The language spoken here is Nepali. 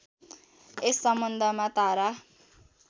यस सम्बन्धमा तारा